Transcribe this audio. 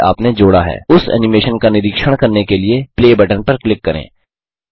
जिसे आपने जोड़ा है उस एनिमेशन का निरीक्षण करने के लिए प्ले बटन पर क्लिक करें